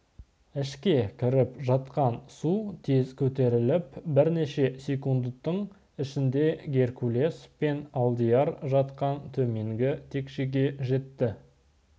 ішке кіріп жатқан су тез көтеріліп бірнеше секундтың ішінде геркулес пен алдияр жатқан төменгі текшеге жетті